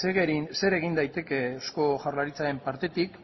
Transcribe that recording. zer egin daiteke eusko jaurlaritzaren partetik